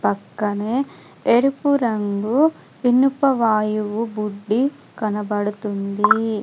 పక్కనే ఎరుపు రంగు వినుప వాయువు బుడ్డి కనబడుతుంది.